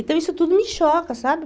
Então isso tudo me choca, sabe?